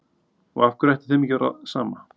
Og af hverju ætti þeim ekki að vera sama?